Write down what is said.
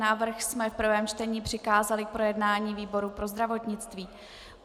Návrh jsme v prvém čtení přikázali k projednání výboru pro zdravotnictví.